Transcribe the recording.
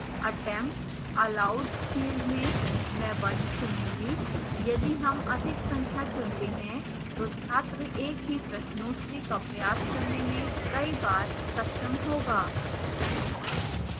attempts allowed field में मैं 1 चुनूँगी यदि हम अधिक संख्या चुनते हैं तो छात्र एक ही प्रश्नोत्तरी का प्रयास करने में कई बार सक्षम होगा